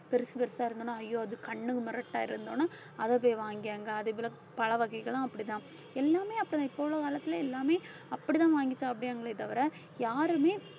பெருசு பெருசா இருந்ததுன்னா ஐயோ அது கண்ணுக்கு முரட்டா இருந்த உடனே அதை போய் வாங்கி அங்க பழ வகைகளும் அப்படிதான் எல்லாமே அப்பதான் போன காலத்துல எல்லாமே அப்படிதான் வாங்கி சாப்பிடறங்களே தவிர யாருமே